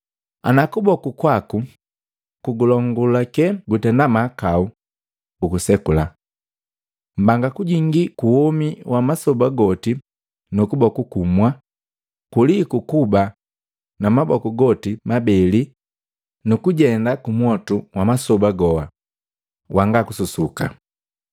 Ana kuboku kwaku kugulongulake gutenda mahakau, ugusekula! Mbanga kujingii kuwomi wa masoba goti nu kuboku kumwa, kuliku kuba na maboku goti mabele nukujenda kumwotu wa masoba goa wanga kususuka.